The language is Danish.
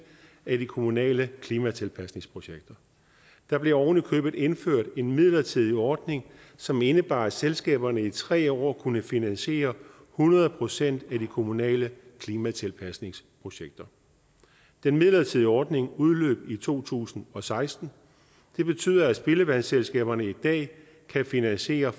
af de kommunale klimatilpasningsprojekter der blev ovenikøbet indført en midlertidig ordning som indebar at selskaberne i tre år kunne finansiere hundrede procent af de kommunale klimatilpasningsprojekter den midlertidige ordning udløb i to tusind og seksten det betyder at spildevandsselskaberne i dag kan finansiere